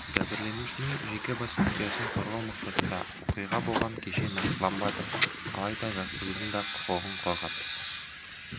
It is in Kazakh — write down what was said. жәбірленушінің жеке бас құпиясын қорғау мақсатында оқиға болған көше нақтыланбады алайда жас қыздың да құқығын қорғап